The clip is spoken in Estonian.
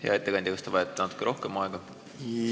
Hea ettekandja, kas te vajate natuke rohkem aega?